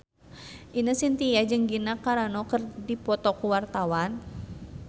Ine Shintya jeung Gina Carano keur dipoto ku wartawan